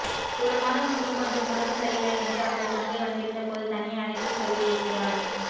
ஒரு மாதம் முன்பு கொஞ்சம் உடம்பு சரியில்லை என்று அவனது தங்கை வந்திருந்தபோது தனியே அழைத்து சொல்லியிருக்கிறார்